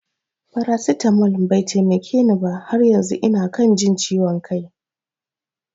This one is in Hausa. Farasitamol bai taimake ni ba, har yanzu ina kan jin ciwon kai